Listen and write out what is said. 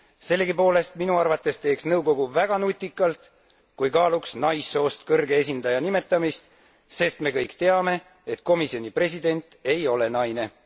Sellegipoolest, minu arvates teeks nõukogu väga nutikalt, kui kaaluks naissoost kõrge esindaja nimetamist, sest me kõik teame, et komisjoni president ei ole naine.